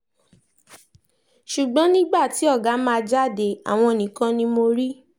ṣùgbọ́n nígbà tí ọ̀gá máa jáde àwọn nìkan ni mo rí